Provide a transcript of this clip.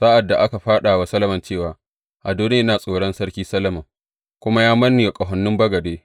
Sa’ad da aka faɗa wa Solomon cewa, Adoniya yana tsoron Sarki Solomon, kuma ya manne wa ƙahonin bagade.